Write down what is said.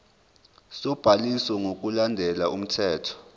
sobhaliso ngokulandela umthetho